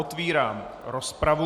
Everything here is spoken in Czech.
Otevírám rozpravu.